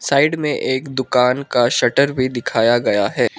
Side में एक दुकान का शटर भी दिखाया गया है।